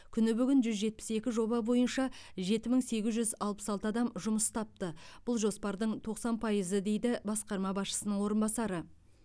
күні бүгін жүз жетпіс екі жоба бойынша жеті мың сегіз жүз алпыс алты адам жұмыс тапты бұл жоспардың тоқсан пайызы дейді басқарма басшысының орынбасары